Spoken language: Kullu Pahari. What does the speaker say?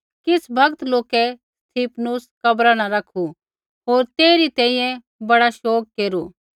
किछ़ भगत लोकै स्तिफनुस कब्रा न रखू होर तेइरी तैंईंयैं बड़ा शोग केरू